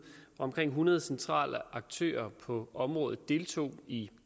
omkring hundrede centrale aktører på området deltog i